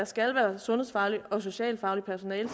skal være sundhedsfagligt og social fagligt personale